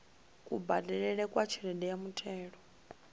kubadelele kwa tshelede ya muthelo